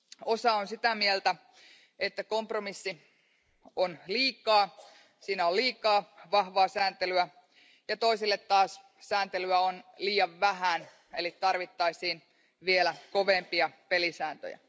Osa on sitä mieltä, että kompromissi on liikaa, että siinä on liikaa vahvaa sääntelyä, ja toisille taas sääntelyä on liian vähän, eli tarvittaisiin vielä kovempia pelisääntöjä.